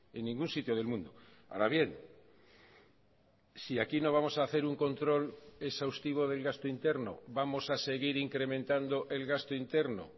en ningún sitio del mundo ahora bien si aquí no vamos a hacer un control exhaustivo del gasto interno vamos a seguir incrementando el gasto interno